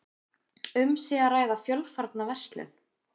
Um sé að ræða fjölfarna verslun